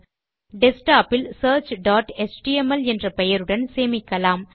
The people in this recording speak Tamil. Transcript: டெஸ்க்டாப் இல் searchஎச்டிஎம்எல் என்ற பெயருடன் சேமிக்கலாம்